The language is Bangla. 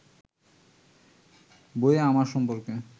বইয়ে আমার সম্পর্কে